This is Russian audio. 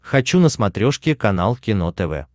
хочу на смотрешке канал кино тв